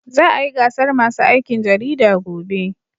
Za a yi gasar masu aikin jarida gobe.